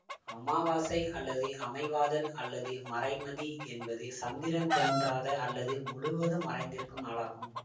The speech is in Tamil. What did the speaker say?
அமாவாசை அல்லது அமைவாதல் அல்லது மறைமதி என்பது சந்திரன் தோன்றாத அல்லது முழுவதும் மறைந்திருக்கும் நாளாகும்